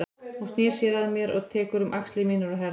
Hún snýr sér að mér og tekur um axlir mínar og herðar.